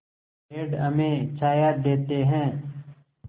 पेड़ हमें छाया देते हैं